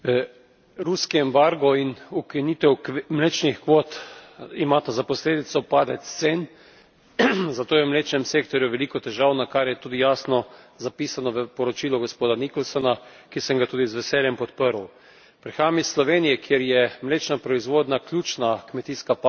Ruski embargo in ukinitev mlečnih kvot imata za posledico padec cen, zato je v mlečnem sektorju veliko težav, kar je tudi jasno zapisano v poročilu gospoda Nicholsona, ki sem ga tudi z veseljem podprl. Prihajam iz Slovenije, kjer je mlečna proizvodnja ključna kmetijska panoga.